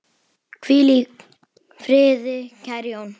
Hvíl í friði, kæri Jón.